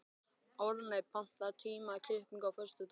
Árney, pantaðu tíma í klippingu á föstudaginn.